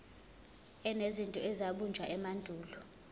enezinto ezabunjwa emandulo